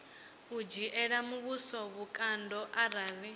u dzhiela muvhuso vhukando arali